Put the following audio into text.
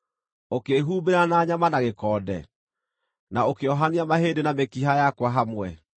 ũkĩĩhumbĩra na nyama na gĩkonde, na ũkĩohania mahĩndĩ na mĩkiha yakwa hamwe.